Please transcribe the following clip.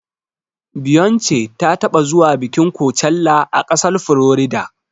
Beyonce ta taɓa zuwa bikin kocella a ƙasar Florida.